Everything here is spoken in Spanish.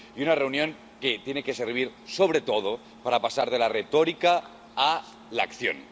Y una reunión que tiene que servir, sobre todo, para pasar de la retórica a la acción.